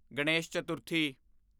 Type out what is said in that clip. Ganesh Chaturthi